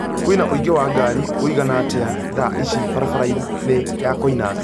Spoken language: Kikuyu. Kwina ũingĩ wa ngari wĩigana atîa thaa ici barabara-inĩ ya Koinange